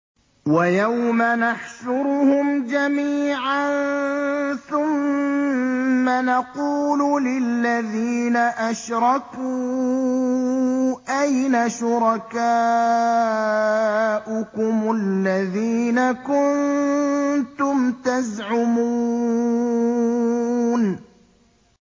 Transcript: وَيَوْمَ نَحْشُرُهُمْ جَمِيعًا ثُمَّ نَقُولُ لِلَّذِينَ أَشْرَكُوا أَيْنَ شُرَكَاؤُكُمُ الَّذِينَ كُنتُمْ تَزْعُمُونَ